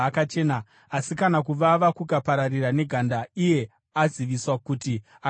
Asi kana kuvava kukaparira neganda iye aziviswa kuti akachena,